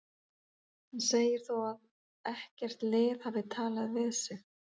Hann segir þó að ekkert lið hafi talað við sig.